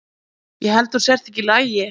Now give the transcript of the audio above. Ég held að þú sért ekki í lagi.